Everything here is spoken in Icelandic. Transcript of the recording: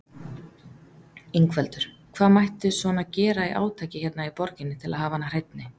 Ingveldur: Hvað mætti svona gera í átaki hérna í borginni til að hafa hana hreinni?